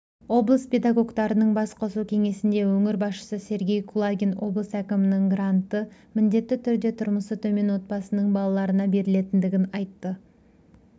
облыс педагогтарының бас қосу кеңесінде өңір басшысы сергей кулагин облыс әкімінің гранты міндетті түрде тұрмысы төмен отбасының балаларына берілетіндігін айтты